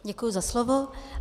Děkuji za slovo.